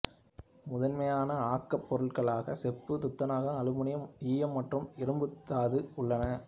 முதன்மையான ஆக்கப் பொருட்களாக செப்பு துத்தநாகம் அலுமினியம் ஈயம் மற்றும் இரும்புத்தாது உள்ளன